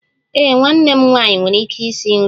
Ee, nwanne m nwanyị nwere ike isi nri